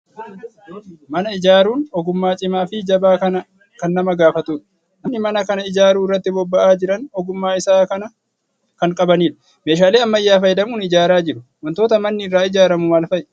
Mana ijaaruun ogummaa cimaa fi jabaa kan nama gaafatudha. Namoonni mana kana ijaaruu irratti bobba'aa jiran ogummaa isaa kan qabanidha. Meeshaalee ammayyaa fayyadamuun ijaaraa jiru. Waantota manni irraa ijaaramu maal fa'i?